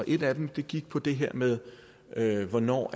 et af dem gik på det her med med hvornår